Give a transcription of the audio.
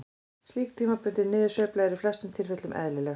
Slík tímabundin niðursveifla er í flestum tilfellum eðlileg.